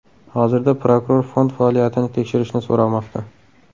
Hozirda prokuror fond faoliyatini tekshirishni so‘ramoqda.